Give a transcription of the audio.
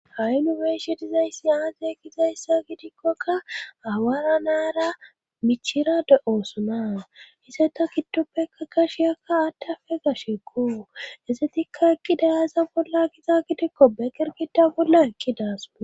ha7i nu be'eshin dizayssi aaze gizayssa gidikkoka awaara nara michira de7oosona hise ta giddoppeka gashiyakka attafe gashekko essetikka eqqi dayasa bolla giza gidikko beqergida bolla ekki daas